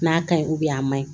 N'a ka ɲi a man ɲi